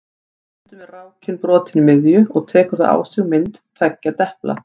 Stundum er rákin brotin í miðju og tekur þá á sig mynd tveggja depla.